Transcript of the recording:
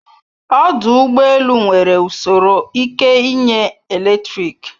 Ọdụ ụgbọ elu nwere usoro ike inye eletrik